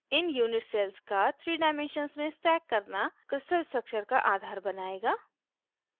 इन unit cells का 3 dimensions में stack एक के ऊपर एक आना करना crystal structure का आधार बनाएगा